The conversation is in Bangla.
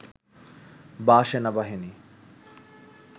বা সেনাবাহিনী